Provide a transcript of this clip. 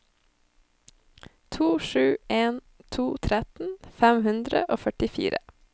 to sju en to tretten fem hundre og førtifire